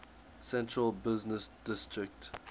central business district